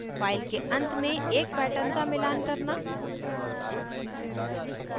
file के अंत में एक pattern का मिलान करना